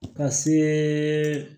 Ka se